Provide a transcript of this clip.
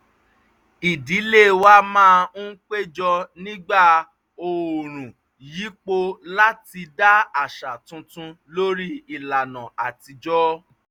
ìdílé wa máa ń péjọ nígbà oòrùn yípo láti dá àṣà tuntun lórí ìlànà àtijọ́